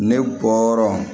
Ne bɔra